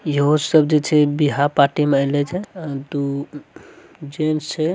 ये वो सब जो छे बिहा - पार्टी में एले छे दू | जेंट्स छे|